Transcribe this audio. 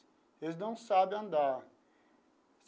Eles não sabe andar.